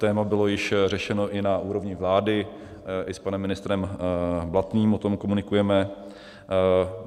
Téma bylo již řešeno i na úrovni vlády, i s panem ministrem Blatným o tom komunikujeme.